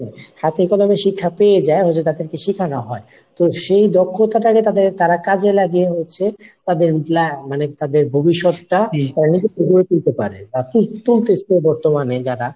হাতে কলমে শিক্ষা পেয়ে যায় ওটা তাদেরকে শিখানো হয়। তো সে দক্ষতাটাকে তাদের তারা কাজে লাগিয়ে হচ্ছে তাদের ভবিষৎটা গড়ে তুলতে পারে বা তুলতাসেও বর্তমানে যারা